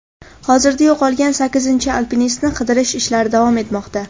Hozirda yo‘qolgan sakkizinchi alpinistni qidirish ishlari davom etmoqda.